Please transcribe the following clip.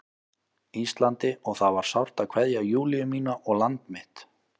Íslandi og það var sárt að kveðja Júlíu mína og land mitt.